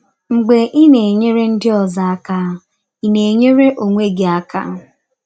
Mgbe ị na - enyere ndị ọzọ aka, ị na - enyere ọnwe gị aka.